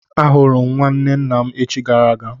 Ahụrụ m nwanne nna m echichi gara aga.